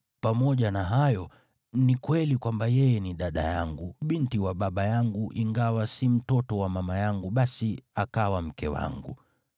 Pamoja na hayo, ni kweli kwamba yeye ni dada yangu, binti wa baba yangu ingawa si mtoto wa mama yangu; basi akawa mke wangu.